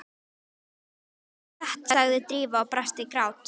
En það er satt sagði Drífa og brast í grát.